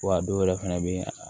Wa a dɔw yɛrɛ fɛnɛ bɛ yen